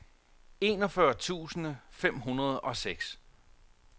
enogfyrre tusind fem hundrede og seks